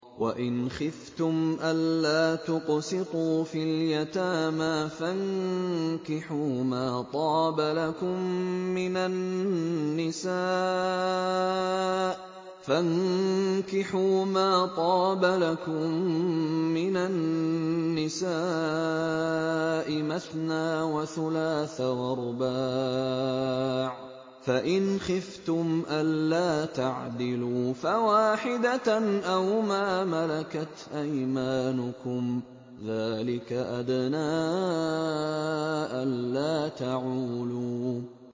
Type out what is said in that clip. وَإِنْ خِفْتُمْ أَلَّا تُقْسِطُوا فِي الْيَتَامَىٰ فَانكِحُوا مَا طَابَ لَكُم مِّنَ النِّسَاءِ مَثْنَىٰ وَثُلَاثَ وَرُبَاعَ ۖ فَإِنْ خِفْتُمْ أَلَّا تَعْدِلُوا فَوَاحِدَةً أَوْ مَا مَلَكَتْ أَيْمَانُكُمْ ۚ ذَٰلِكَ أَدْنَىٰ أَلَّا تَعُولُوا